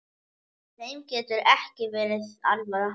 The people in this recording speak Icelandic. Þeim getur ekki verið alvara.